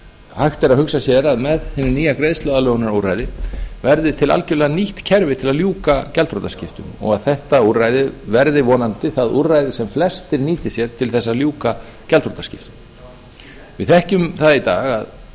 hægt er að hugsa sér með hinu nýja greiðsluaðlögunarúrræði verði til algjörlega nýtt kerfi til að ljúka gjaldþrotaskiptum og þetta úrræði verði vonandi það úrræði sem flestir nýti sér til þess að ljúka gjaldþrotaskiptum við þekkjum það í dag að